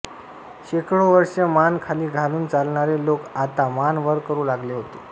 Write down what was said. शेकडो वर्षे मान खाली घालून चालणारे लोक आता मान वर करू लागले होते